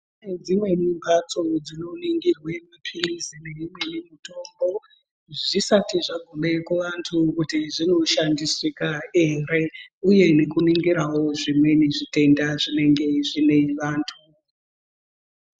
Kune dzimweni mbatso dzinoningirwe mapiri nemitombo dzisati dzakume kuvantu kuti dzinoshandisika here uye nekuningirawo zvimweni zvitenda zvinenga zviine vantu.